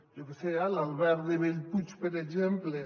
jo què sé eh l’alberg de bellpuig per exemple